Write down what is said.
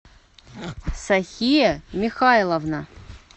сахия михайловна